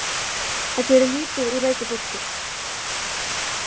Það gerir lítið úr veiku fólki.